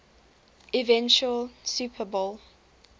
eventual super bowl